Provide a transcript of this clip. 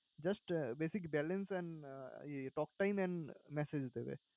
just basic balance and talktime and message দেবে।